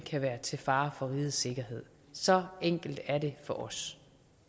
kan være til fare for rigets sikkerhed så enkelt er det for os